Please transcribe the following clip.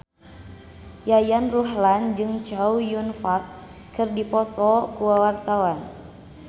Yayan Ruhlan jeung Chow Yun Fat keur dipoto ku wartawan